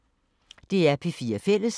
DR P4 Fælles